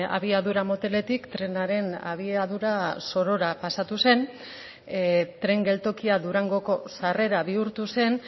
abiadura moteletik trenaren abiadura zorora pasatu zen tren geltokia durangoko sarrera bihurtu zen